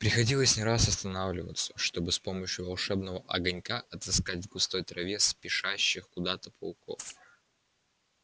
приходилось не раз останавливаться чтобы с помощью волшебного огонька отыскать в густой траве спешащих куда-то пауков